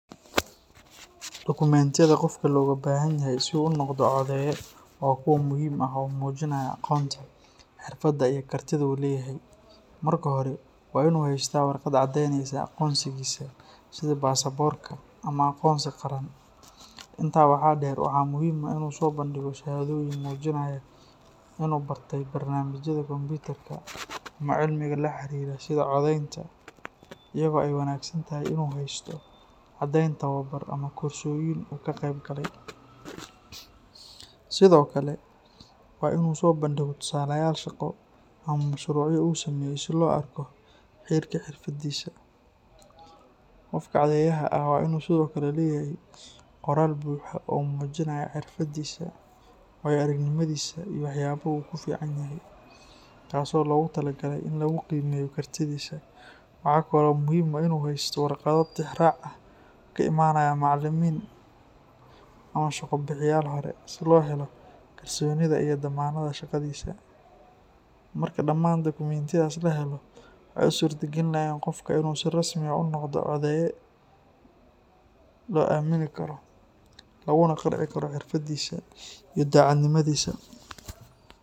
Dokumentiyada qofka looga baahanyahay si uu u noqdo codeeye waa kuwo muhiim ah oo muujinaya aqoonta, xirfadda iyo kartida uu leeyahay. Marka hore, waa in uu haystaa warqad caddeyneysa aqoonsigiisa sida baasaboorka ama aqoonsi qaran. Intaa waxaa dheer, waxaa muhiim ah in uu soo bandhigo shahaadooyin muujinaya in uu bartay barnaamijyada kombiyuutarka ama cilmiga la xiriira sida codaynta, iyadoo ay wanaagsan tahay in uu haysto caddeyn tababar ama koorsooyin uu ka qaybgalay. Sidoo kale, waa in uu soo bandhigo tusaalayaal shaqo ama mashruucyo uu sameeyay si loo arko heerka xirfadiisa. Qofka codeyaha ah waa inuu sidoo kale leeyahay qoraal buuxa oo muujinaya xirfadiisa, waayo-aragnimadiisa iyo waxyaabaha uu ku fiican yahay, taasoo loogu tala galay in lagu qiimeeyo kartidiisa. Waxaa kale oo muhiim ah inuu haysto warqado tixraac ah oo ka imanaya macallimiin ama shaqo-bixiyayaal hore, si loo helo kalsoonida iyo dammaanadda shaqadiisa. Marka dhammaan dokumentiyadaas la helo, waxay u suurtagelinayaan qofka in uu si rasmi ah u noqdo codeeye loo aamini karo, laguna qanci karo xirfadiisa iyo daacadnimadiisa.